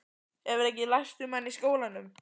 Hefurðu ekki lært um hann í skólanum?